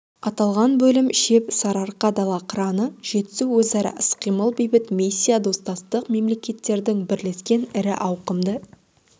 аталған бөлім шеп сарыарқа дала қыраны жетісу өзара іс-қимыл бейбіт миссия достастық мемлекеттердің бірлескен ірі ауқымды